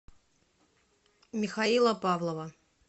михаила павлова